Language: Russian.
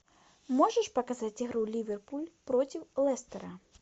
можешь показать игру ливерпуль против лестера